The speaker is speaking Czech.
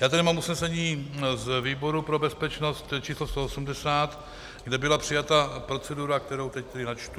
Já tady mám usnesení z výboru pro bezpečnost číslo 180, kde byla přijata procedura, kterou teď tedy načtu.